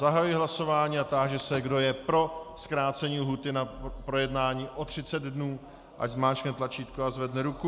Zahajuji hlasování a táži se, kdo je pro zkrácení lhůty na projednání o 30 dnů, ať zmáčkne tlačítko a zvedne ruku.